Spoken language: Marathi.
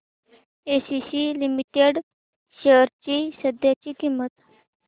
एसीसी लिमिटेड शेअर्स ची सध्याची किंमत